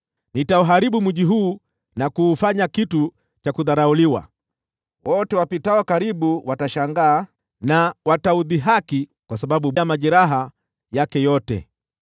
Nitauharibu mji huu na kuufanya kitu cha kudharauliwa. Wote wapitao karibu watashangaa na kuudhihaki kwa sababu ya majeraha yake yote.